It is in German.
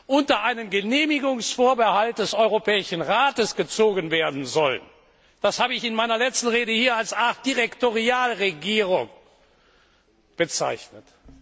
unter einen Genehmigungsvorbehalt des Europäischen Rates gestellt werden sollen das habe ich in meiner letzten Rede hier als eine Art Direktorialregierung bezeichnet.